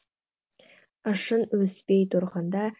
ішің өспей тұрғанда